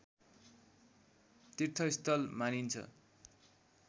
तीर्थस्थल मानिन्छ